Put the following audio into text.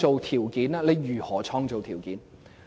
他會如何創造條件？